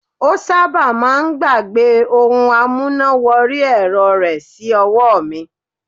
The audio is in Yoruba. Ó sábà máà ń gbàgbẹ́ ohun amúná wọrí ẹ̀rọ rẹ̀ sí ọwọ́ mi.